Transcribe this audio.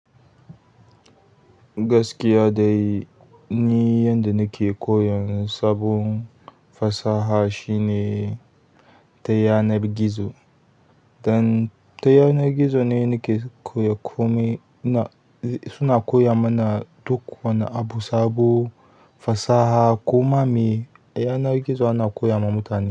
Gaskiya dai ni yanda nake koyon sabon fasaha shine ta yanar gizo. Dan ta yanar gizo ne nake koyar komai suna koya mana duk wani abu. Sabo fasaha koma me yanar gizo ana koya ma mutane.